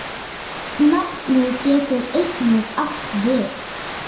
Nafnið getur einnig átt við